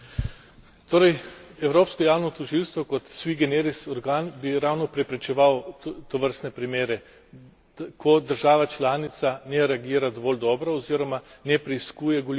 Torej, evropsko javno tožilstvo kot sui generis organ bi ravno preprečeval tovrstne primere, ko država članica ne reagira dovolj dobro oziroma ne preiskuje goljufije.